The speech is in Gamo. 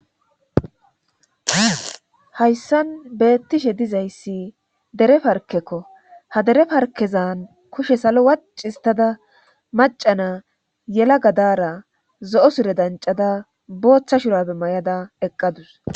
hayssan beettishe dizayssi dere parkekko ha dere parkezan kushe salo waccistada macana yela gadara zo7o sire dancada booththa shurappe may7ada eqqadus